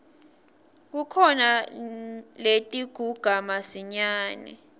kukhona letiguga masinyane